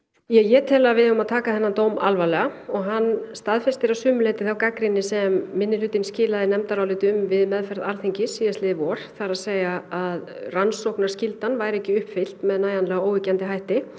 ég tel að við eigum að taka þennan dóm alvarlega hann staðfestir að sumu leyti þá gagnrýni sem minnihlutinn skilaði nefndaráliti um við meðferð Alþingis síðastliðið vor það er að að rannsóknarskyldan væri ekki uppfyllt með nægjanlega óyggjandi hætti